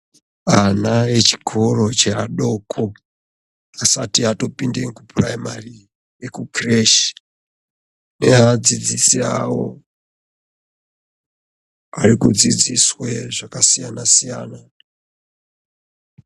Ane echikoro cheadoko asati atopinda kupuraimari ekukireshi neadzidzisi avo arikudzidziswe zvakasiyana siyana.